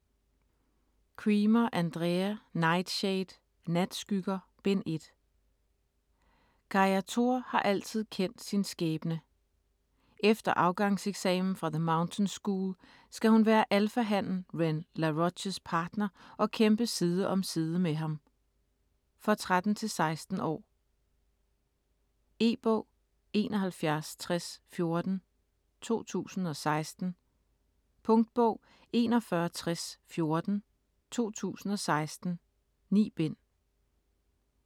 Cremer, Andrea: Nightshade: Natskygger: Bind 1 Calla Tor har altid kendt sin skæbne. Efter afgangseksamen fra The Mountain School, skal hun være alphahannen Ren Laroches partner og kæmpe side om side med ham. For 13-16 år. E-bog 716014 2016. Punktbog 416014 2016. 9 bind.